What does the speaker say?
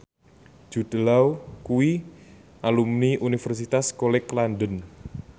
Jude Law kuwi alumni Universitas College London